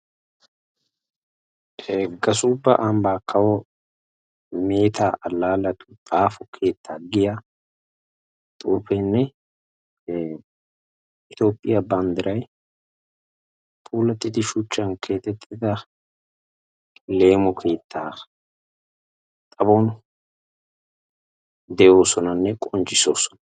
Gasubba ambba kawo miitta allaaletu xaafo keetta giya xuufenne Itoophiya banddiray puulatidi shuchchan keexxettida leemo keetta xaphphpon de'oosonanne qonccisoosona.